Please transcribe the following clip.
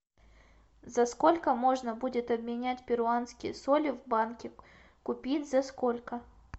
за сколько можно будет обменять перуанские соли в банке купить за сколько